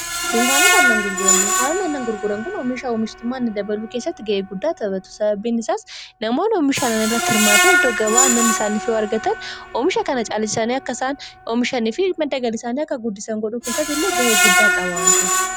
Dunkaanoota aannan gurguran dunkaanoota annan gurguran kun oomiisha oomishtummaani dabaluu keessatti ga'ee guddaa tabatu sababiin isaas namoon oomishanan irratti hirmaatan iddoo gabaa annan isaaniif wargatan oomisha kana caaliisaanii akkaisaan oomishanii fi madagalisaanii akka guddisan godhuu keessatti illee ga'ee guddaa qabaata.